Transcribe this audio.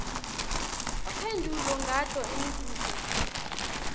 uphendvule ngato imibuto